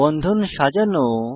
বন্ধন সাজানো